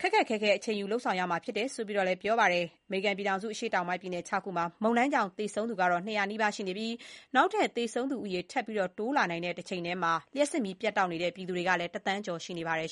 ပြန်လည်ထူထောင်ရေး အတွက် ခက်ခက်ခဲခဲ အချိန်ယူ လုပ်ဆောင်သွားရမှာ ဖြစ်တယ်ဆိုတာကိုလည်း သမ္မတက ပြောဆိုသွားခဲ့ပါတယ်။ အမေရိကန် အရှေ့တောင်ပိုင်း ပြည်နယ် ၆ ခုမှာ မုန်တိုင်းကြောင့် သေဆုံးသူ ၂၀၀ နီးပါး ရှိနေပြီး နောက်ထပ် သေဆုံးသူဦးရေ ထပ်တိုးလာနိုင်တဲ့ တချိန်တည်းမှာ မုန်တိုင်းကြောင့် လျှပ်စစ်မီး ပြတ်တောက်နေတဲ့ ပြည်သူ ၁ သန်းကျော် ရှိနေပါတယ်